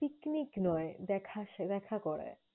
Picnic নয়, দেখা করা দেখা করায়।